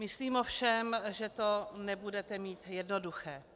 Myslím ovšem, že to nebudete mít jednoduché.